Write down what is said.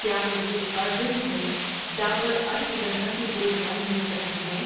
کیا مجھے ارجنٹ میں ڈابر اشوگندھا کی گولیاں مل سکتی ہیں؟